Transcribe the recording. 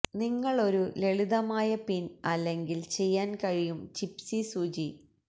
നിങ്ങൾ ഒരു ലളിതമായ പിൻ അല്ലെങ്കിൽ ചെയ്യാൻ കഴിയും ജിപ്സി സൂചി